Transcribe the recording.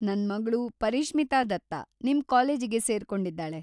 ನನ್ಮಗ್ಳು ಪರಿಶ್ಮಿತಾ ದತ್ತ ನಿಮ್‌ ಕಾಲೇಜಿಗೆ ಸೇರ್ಕೊಂಡಿದ್ದಾಳೆ.